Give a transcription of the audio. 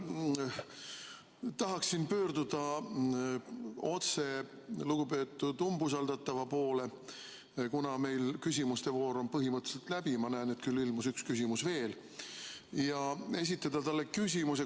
Ma tahaksin pöörduda otse lugupeetud umbusaldatava poole, kuna meil küsimuste voor on põhimõtteliselt läbi – ma näen, et üks küsimus ilmus veel –, ja esitada talle küsimuse.